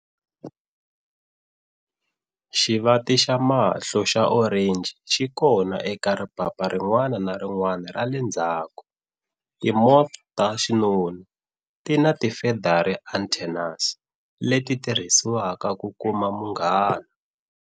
Xivati xa mahlo xa orenji xi kona eka ripapa rin'wana ni rin'wana ra le ndzhaku. Ti moths ta xinuna tina ti feathery antennaes, leti tirhisiwaka ku kuma munghana.